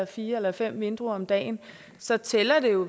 fire eller fem vindruer om dagen så tæller det jo